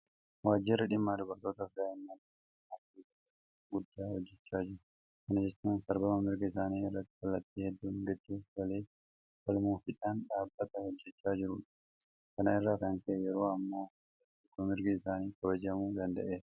Waajjirri dhimma dubartootaafi daa'immanii biyya kana keessatti hojii guddaa hojjechaa jira. Kana jechuun sarbama mirga isaanii irratti kallattii hedduudhaan gidduu galee falmuufiidhaan dhaabbata hojjechaa jirudha. Kana irraa kan ka'e yeroo ammaa hanga tokko mirgi isaanii kabajamuu danda'eera.